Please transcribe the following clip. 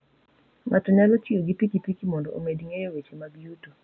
Ng'ato nyalo tiyo gi pikipiki mondo omed ng'eyo weche mag yuto.